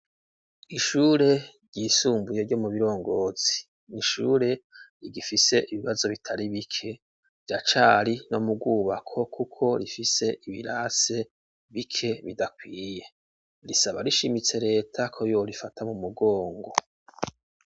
Ishure ryisumbuye ryo mu Birongozi ni ishure rigifise ibibazo bitari bike, riracari no mu rwubako kuko rifise ibirasi bike bidakwiye. Risaba rishimitse reta ko yo rifata mu mugongo.